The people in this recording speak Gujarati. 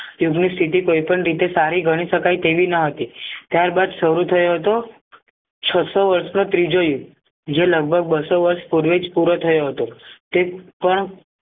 યુગની સીધી કોઈ પણ રીતે સારી ગણી શકાય તેવી નહતી ત્યાર બાદ સારું થયો હતો છસો વર્ષનો ત્રીજો યુદ્ધ જે લગભગ બસો વર્ષ પૂર્વેજ પૂરો થયો હતો તે પણ